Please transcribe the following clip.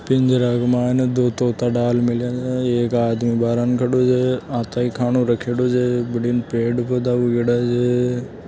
पिंजार में ने दो तोता डाल मेलया है एक आदमी बारन खडियो है अथे खानों रखेल है जे बठिणे पेड़ पौधा उग रे छ।